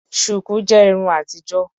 Shuku jẹ Irun àtijọ́.